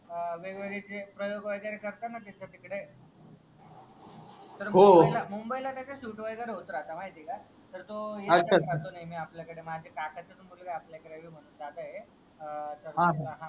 अह वेगवेगळे जे प्रोयोग वगैरे करताना तर तिकडे तर मुंबईला कसा शुट वगैरे होत राहत माहितीये का तर तो राहतो नेहमी आपल्या कडे माझा काकांचाच मुलगा ये आपल्या रवी म्हणून दादा ए तर हा